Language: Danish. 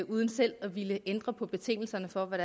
uden selv at ville ændre på betingelserne for hvad